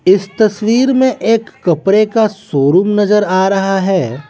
इस तस्वीर में एक कपड़े का शोरूम नजर आ रहा है।